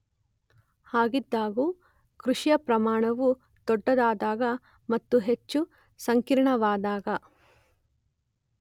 ಹಾಗಿದ್ದಾಗ್ಯೂ ಕೃಷಿಯ ಪ್ರಮಾಣವು ದೊಡ್ಡದಾದಾಗ ಮತ್ತು ಹೆಚ್ಚು ಸಂಕೀರ್ಣವಾದಾಗ